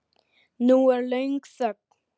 Nú er löng þögn.